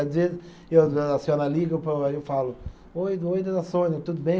Às vezes e a senhora liga e eu falo, Oi, oi dona Sônia, tudo bem?